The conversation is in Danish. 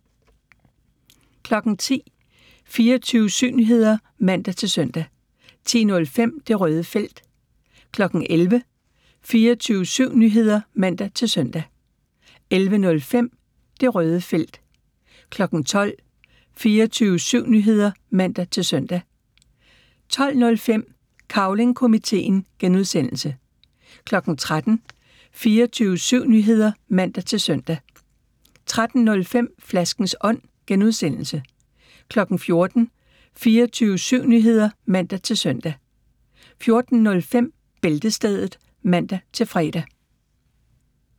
10:00: 24syv Nyheder (man-søn) 10:05: Det Røde Felt 11:00: 24syv Nyheder (man-søn) 11:05: Det Røde Felt 12:00: 24syv Nyheder (man-søn) 12:05: Cavling Komiteen (G) 13:00: 24syv Nyheder (man-søn) 13:05: Flaskens Ånd (G) 14:00: 24syv Nyheder (man-søn) 14:05: Bæltestedet (man-fre)